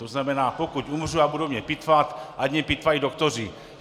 To znamená, pokud umřu a budou mě pitvat, ať mě pitvají doktoři.